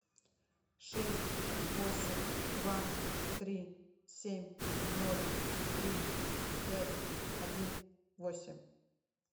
шесть восемь два три семь ноль три пять один восемь